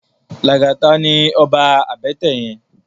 Lagata ni òbá àbètè yèn